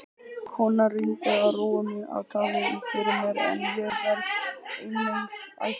Konan reyndi að róa mig og tala um fyrir mér en ég varð einungis æstari.